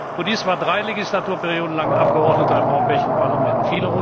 Baudis war drei Legislaturperioden lang Abgeordneter im Europäischen Parlament.